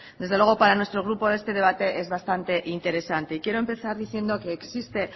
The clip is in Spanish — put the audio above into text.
desde luego para nuestro grupo este debate es bastante interesante y quiero empezar diciendo que existe